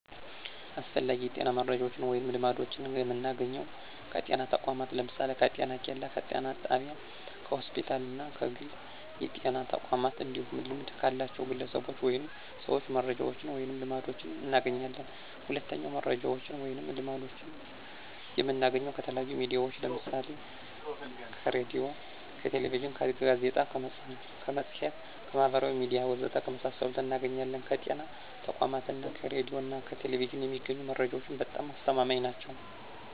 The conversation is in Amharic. አስፈላጊ የጤና መረጃዎችን ወይም ልምዶችን የምናገኘው ከጤና ተቋማት ለምሳሌ፦ ከጤኬላ፣ ከጤና ጣቢያ፣ ከሆስፒታል እና ከግል የጤና ተቋማት እንዲሁም ልምድ ካላቸው ግለሰቦች ወይም ሰዎች መረጃዎችን ወይንም ልምዶችን እናገኛለን። ሁለተኛው መረጃዎችን ወይም ልምዶችን የምናገኘው ከተለያዩ ሚዲያዎች ለምሳሌ ከሬዲዮ፣ ከቴሌቪዥን፣ ከጋዜጣ፣ ከመፅሔት፣ ከማህበራዊ ሚዲያ ወዘተ ከመሳሰሉት እናገኛለን። ከጤና ተቋማት እና ከሬዲዮ ና ቴሌቪዥን የሚገኙ መረጃዎች በጣም አስተማማኝ ናቸው።